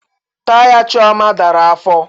Taya Chioma dara afọ